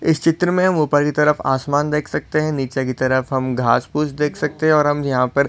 इस चित्र मे हम ऊपर की तरफ आसमान देख सकते है नीचे की तरफ हम घास फूस देख सकते है और हम यहा पर --